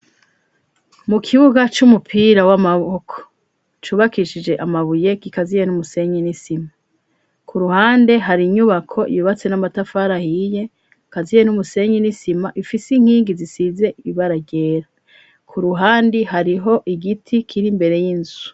Mukibuga c'umupira w'amaboko cubakishije amabuye k'ikaziye n'umusenyi n'isima ku ruhande hari inyubako ibubatse n'amatafara ahiye kaziye n'umusenyi n'isima ifise inkingi zisize ibaragera ku ruhande hariho igiti kiri mbere y'inzu.